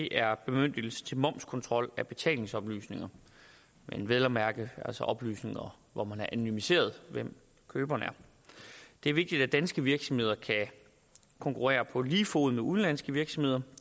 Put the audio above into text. er bemyndigelsen til momskontrol af betalingsoplysninger vel og mærke oplysninger hvor man har anonymiseret hvem køberen er det er vigtigt at danske virksomheder kan konkurrere på lige fod med udenlandske virksomheder